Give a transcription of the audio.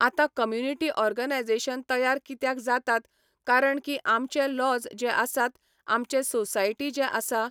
आतां community organisation तयार कित्याक जातात कारण की आमचे लॉज जे आसात आमचे सोसायटी जे आसा